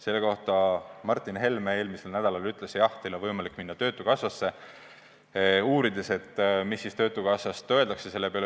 Selle kohta ütles Martin Helme eelmisel nädalal, et jah, teil on võimalik minna töötukassasse ja uurida, mis siis töötukassast öeldakse selle peale.